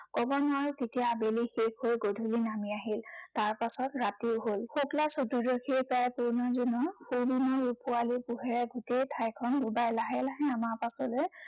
কব নোৱাৰো কেতিয়া আবেলি শেষ হৈ গধূলি নামি আহিল। তাৰ পাছত ৰাতিও হল। শুক্লা চতুৰ্দশী তাৰ পূৰ্ণ জোন, পূৰ্ণিমাৰ ৰূপোৱালী পোহৰে গোটেই ঠাইখন উজাই লাহে লাহে আমাৰ পাছলে